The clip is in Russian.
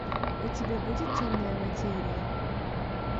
у тебя будет темная материя